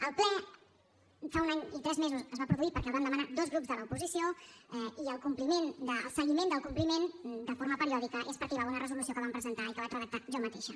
el ple fa un any i tres mesos es va produir perquè el vam demanar dos grups de l’oposició i el seguiment del compliment de forma periòdica és perquè hi va haver una resolució que vam presentar i que vaig redactar jo mateixa